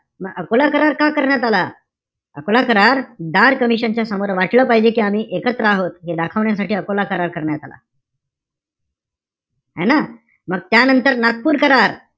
म अकोला करार का करण्यात आला? अकोला करार, धार कमिशन च्या समोर वाटलं पाहिजे कि आम्ही एकत्र आहोत, हे दाखवण्यासाठी अकोला करार करण्यात आला. है ना? मग त्यानंतर नागपूर करार,